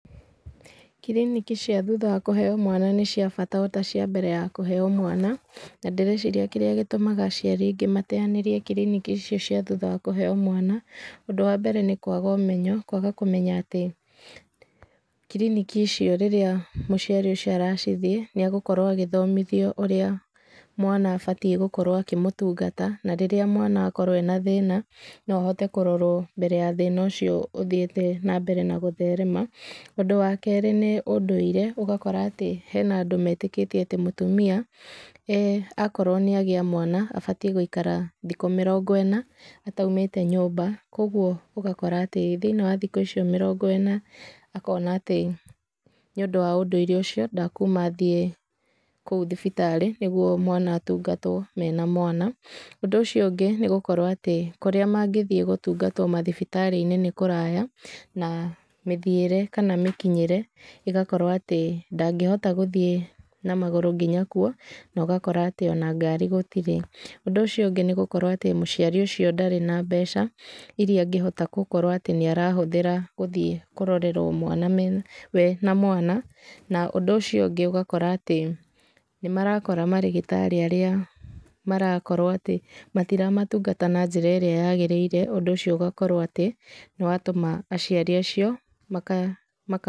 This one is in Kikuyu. Kiriniki cia thutha wa kũheyo mwana nĩ cia bata ota cia mbere ya kũheyo mwana, na ndĩreciria kĩrĩa gĩtũmaga aciari aingĩ mateyanĩrie kiriniki ici cia thutha wa kũheyo mwana, ũndũ wambere nĩ kwaga ũmenyo, kwaga kũmenya atĩ kiriniki icio rĩrĩa mũciari ũcio aracithiĩ, nĩegũkorwo agĩthomithio ũrĩa mwana abatiĩ gũkorwo akĩmũtungata, na rĩrĩa mwana akorwo ena thĩna, nohote kũrotwo mbere ya thĩna ũcio ũthiĩte nambere na gũtherema. Ũndũ wakerĩ nĩ ũndũire, ũgakora atĩ hena andũ metĩkĩtie mũtumia akorwo nĩ agĩa mwana, abatiĩ gũikara thikũ mĩrongo ĩna, ataumĩte nyũmba, koguo ũgakora atĩ, thĩinĩ wa thikũ icio mĩrongo ĩna, akona atĩ, nĩũndũ wa ũndũire ũcio, ndekuma athiĩ kũu thibitari nĩguo mwana atungatwo, menamwana. Ũndũ ũcio ũngĩ nĩ gũkorwo atĩ kũrĩa mangĩthiĩ gũtungatwo mathibitarĩ-inĩ nĩ kũraya, na mĩthiĩre kana mĩkinyĩre ĩgakorwo atĩ, ndangĩhota gũthiĩ na magũrũ, nginya kuo, na ũgakora atĩ ona ngari gũtirĩ. Ũndũ ũcio ũngĩ nĩ gũkorwo mũciari ũcio ndarĩ na mbeca iria angĩkorwo atĩ nĩ arahũthĩra gũthiĩ kũrorerwo mwana, wee na mwana, na ũndũ ũcio ũngĩ ũgakora atĩ nĩmarakora atĩ marĩgĩtarĩ arĩa marakorwo atĩ matiramatungata na njĩra ĩrĩa yagĩrĩire, ũndũ ũcio ũgakorwo atĩ, nĩwatũma aciari acio maka.